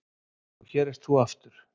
Og hér ert þú aftur.